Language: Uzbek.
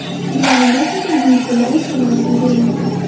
Bularning barchasi bugungi kunda o‘z samarasini bermoqda.